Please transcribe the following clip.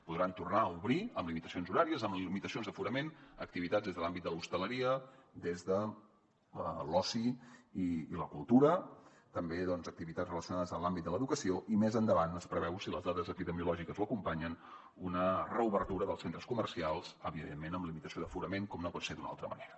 podran tornar a obrir amb limitacions horàries amb limitacions d’aforament activitats des de l’àmbit de l’hostaleria des de l’oci i la cultura també activitats relacionades amb l’àmbit de l’educació i més endavant es preveu si les dades epidemiològiques ho acompanyen una reobertura dels centres comercials evidentment amb limitació d’aforament com no pot ser d’una altra manera